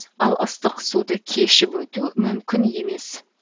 ал ыстық суды кешіп өту мүмкін емес